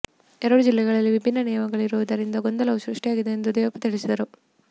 ಎರಡು ಜಿಲ್ಲೆಗಳಲ್ಲಿ ವಿಭಿನ್ನ ನಿಯಮಗಳಿರುವುದರಿಂದ ಗೊಂದಲವು ಸೃಷ್ಟಿಯಾಗಿದೆ ಎಂದು ದೇವಪ್ಪ ತಿಳಿಸಿದರು